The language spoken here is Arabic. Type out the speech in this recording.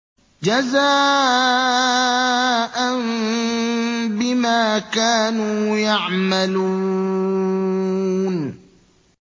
جَزَاءً بِمَا كَانُوا يَعْمَلُونَ